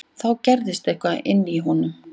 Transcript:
Þá gerðist eitthvað inní honum.